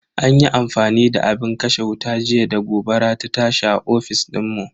An yi amfani da abin kashe wuta jiya da gobara ta tashi a ofis dinmu.